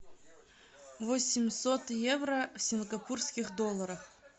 восемьсот евро в сингапурских долларах